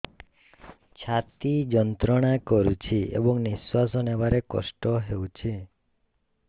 ଛାତି ଯନ୍ତ୍ରଣା କରୁଛି ଏବଂ ନିଶ୍ୱାସ ନେବାରେ କଷ୍ଟ ହେଉଛି